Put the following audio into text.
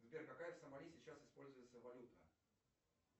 сбер какая в сомали сейчас используется валюта